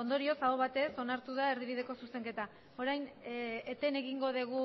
ondorioz aho batez onartu da erdibideko zuzenketa orain eten egingo dugu